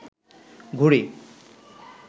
ঘুড়ি